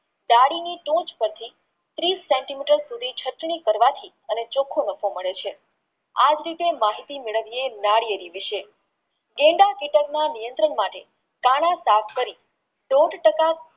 ડાળીની ટોચ પરથી ત્રીશ cm કરવાથી એને ચોખ્ખું રસ મળે છે આજ રીતે માહિતી મેળવીયે નારિયેળી વિશે નિયંત્રણ માટે તાળા સાફ કરી બોધ તાકવા